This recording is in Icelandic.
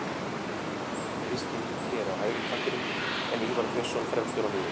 Kristinn Ingi er á hægri kantinum en Ívar Björnsson fremstur á miðjunni.